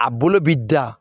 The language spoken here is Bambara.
A bolo bɛ da